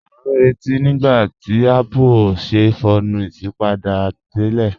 A n rẹ̀tí nígbàtí Apple o ṣè fọọ̀nù isípádé tírẹ̀.